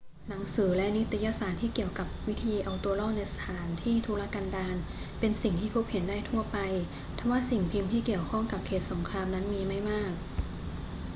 หนังสือและนิตยสารที่เกี่ยวกับวิธีเอาตัวรอดในสถานที่ทุรกันดารเป็นสิ่งที่พบเห็นได้ทั่วไป ทว่าสิ่งพิมพ์ที่เกี่ยวข้องกับเขตสงครามนั้นมีไม่มาก